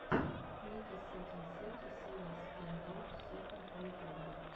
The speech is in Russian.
ники сетин сети севен стэндофф сэконд в ютюбе